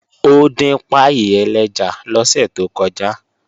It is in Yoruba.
Ó dín páì ẹlẹ́ja lọ́sẹ̀ tó kọjá